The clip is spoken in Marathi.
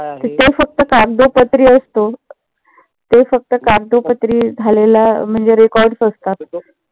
ते फक्त कागदोपत्री असतो. ते फक्त कागदोपत्री झालेलं म्हणजे records असतात.